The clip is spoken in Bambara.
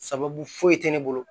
Sababu foyi tɛ ne bolo